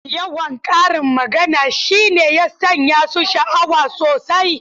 Yawan karin magana shi ne ya sanya su sha’awa sosai.